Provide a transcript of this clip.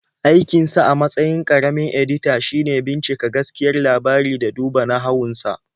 Aikinsa a matsayin ƙaramin-edita shine bincika gaskiyar labari da duba nahawun sa.